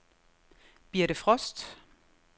Birthe Frost